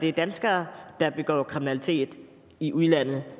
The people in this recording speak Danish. er danskere der begår kriminalitet i udlandet